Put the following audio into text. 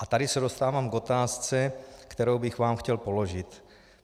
A tady se dostávám k otázce, kterou bych vám chtěl položit.